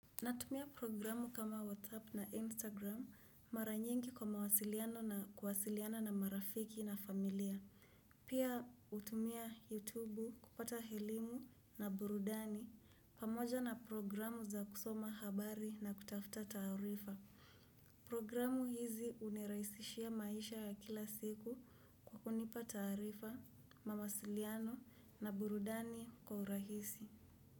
Natumia programu kama WhatsApp na Instagram mara nyingi kwa mawasiliano na kuwasiliana na marafiki na familia. Pia hutumia YouTube kupata elimu na burudani pamoja na programu za kusoma habari na kutafuta taarifa. Programu hizi huniraisishia maisha ya kila siku kunipa taarifa, mawasiliano na burudani kwa urahisi.